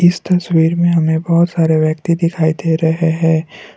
इस तस्वीर में हमें बहोत सारे व्यक्ति दिखाई दे रहे हैं।